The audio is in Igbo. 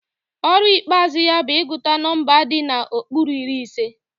Ọrụ ikpeazụ ya bụ ịgụta nọmba di n'okpuru iri ise